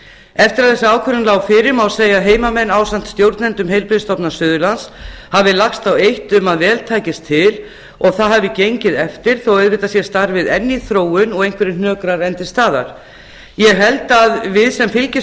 eftir að þessi ákvörðun lá fyrir má segja að heimamenn ásamt stjórnendum heilbrigðisstofnunar suðurlands hafi lagst á eitt til að vel tækist til og það hafi gengið eftir þó auðvitað sé starfið enn í þróun og einhverjir hnökrar enn til staðar ég held að við sem fylgdust